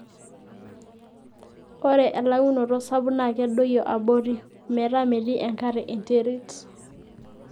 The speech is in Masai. ore elauinoto sapuk naa kedoyio abori ,ometaa metii enkare enterit